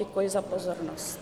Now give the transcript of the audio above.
Děkuji za pozornost.